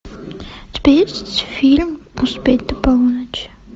у тебя есть фильм успеть до полуночи